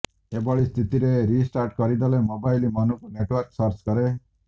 ଏହିଭଳି ସ୍ଥିତିରେ ରିଷ୍ଟାର୍ଟ କରିଦେଲେ ମୋବାଇଲ ମନକୁ ନେଟୱାର୍କ ସର୍ଚ୍ଚ କରେ